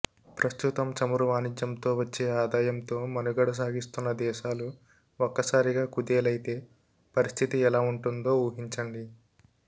ప్రస్తుతం చమురు వాణిజ్యంతో వచ్చే ఆదాయంతో మనుగడ సాగిస్తున్న దేశాలు ఒక్కసారిగా కుదేలైతే పరిస్థితి ఎలా ఉంటుందో ఊహించండి